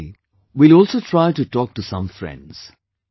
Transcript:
Today, we will also try to talk to some colleagues